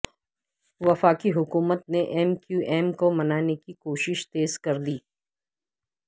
وفاقی حکومت نے ایم کیو ایم کو منانے کی کوششیں تیز کر دیں